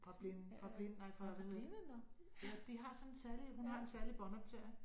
Fra blinde fra blind nej fra hvad hedder det ja de har sådan en særlig hun har en særlig båndoptager